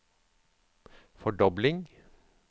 fordobling